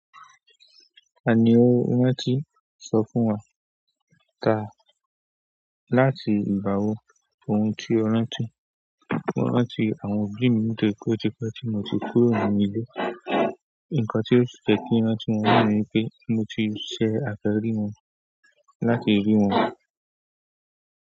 Tani owó wọ́n ti sọ fún wa? Ta láti ìgbà wo? Ohun tí ó rántí, mo rántí àwọn obíì mí nítorí pe o ti pẹ ti mo ti kúrò nínú ilé. Ǹkan tí ó ti jẹ kí n rántí wọn ni pé mo ti ṣe àfẹ́ rí wọn láti rí wọn.